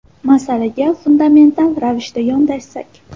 Masalaga fundamental ravishda yondashsak.